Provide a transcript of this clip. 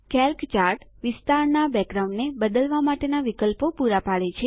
Calc chart વિસ્તારનાં બેકગ્રાઉન્ડને બદલવા માટેના પણ વિકલ્પો પુરા પાડે છે